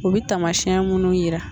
O bɛ tamasiɛn munnu yira.